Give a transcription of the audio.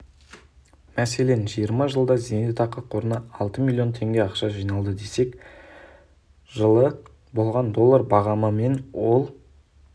мәселен жиырма жылда зейнетақы қорына алты миллион теңге ақша жиналды десек жылы болған доллар бағамымен ол